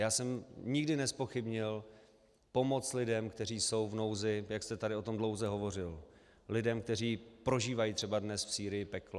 Já jsem nikdy nezpochybnil pomoc lidem, kteří jsou v nouzi, jak jste tady o tom dlouze hovořil, lidem, kteří prožívají třeba dnes v Sýrii peklo.